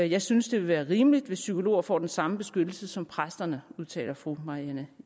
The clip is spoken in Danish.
jeg synes det vil være rimeligt hvis psykologer får den samme beskyttelse som præsterne udtaler fru marianne